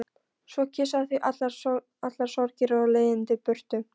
Svo kyssa þau allar sorgir og leiðindi burtu.